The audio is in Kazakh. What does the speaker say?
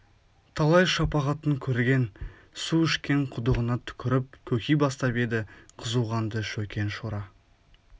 талай шапағатын көрген су ішкен құдығына түкіріп көки бастап еді қызу қанды шөкең шора